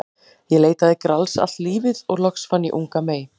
Ég leitaði Grals allt lífið og loks fann ég unga mey.